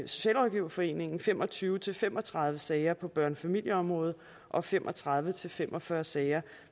socialrådgiverforeningen fem og tyve til fem og tredive sager på børnefamilieområdet og fem og tredive til fem og fyrre sager